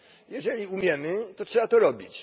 Jeżeli umiemy, to trzeba to robić.